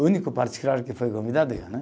O único particular que foi convidado eu né.